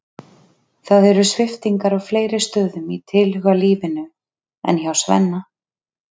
Það eru sviptingar á fleiri stöðum í tilhugalífinu en hjá Svenna.